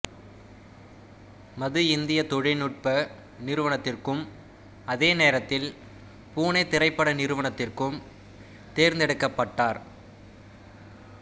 மது இந்திய தொழில்நுட்ப நிறுவனத்திற்கும் அதே நேரத்தில் புனே திரைப்பட நிறுவனத்திற்கும் தேர்ந்தெடுக்கப்பட்டார்